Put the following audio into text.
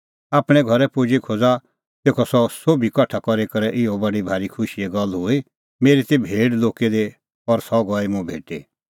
आपणैं घरै पुजी खोज़ा तेखअ सह सोभी कठा करी इहअ बडी भारी खुशीए गल्ल हुई मेरी ती भेड़ लुक्की दी और सह गई मुंह भेटी